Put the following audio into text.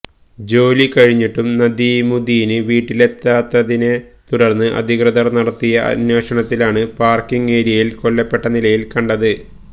ജോലി കഴിഞ്ഞിട്ടും നദീമുദ്ദീന് വീട്ടിലെത്താത്തതിനെ തുടര്ന്ന് അധികൃതര് നടത്തിയ അന്വേഷണത്തിലാണ് പാര്ക്കിങ് ഏരിയയില് കൊല്ലപ്പെട്ട നിലയില് കണ്ടത്